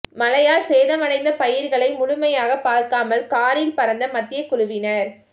மழையால் சேதமடைந்த பயிர்களை முழுமையாக பார்க்காமல் காரில் பறந்த மத்திய குழுவினர்